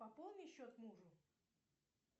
пополни счет мужу